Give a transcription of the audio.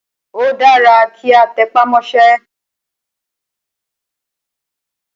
Ó dára kí a tẹpá mọ́sẹ́.